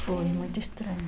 Foi muito estranho.